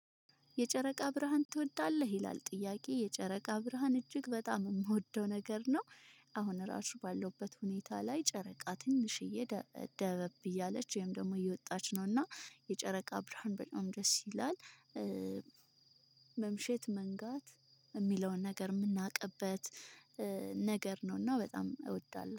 የጨረቃ ብርሃን ትወዳለህ ይላል? ጥያቄ የጨረቃ ብርሃን እጅግ በጣም የምወደው ነገር ነው። አሁን ራሱ ባለውበት ሁኔታ ላይ ጨረቃ ትንሽዬ ደ ደበብ እያለች ወይም ደግሞ እየወጣች ነውና የጨረቃ ብርሃን በጣም ደስ ይላል። መምሸት መንጋት የሚለውን ነገር የምናውቅበት ነገር ነው። እና በጣም እወዳለሁ